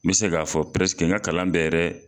N bɛ se k'a fɔ n ka kalan bɛɛ yɛrɛ